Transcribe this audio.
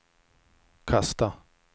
kasta